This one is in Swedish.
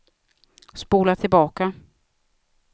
spola tillbaka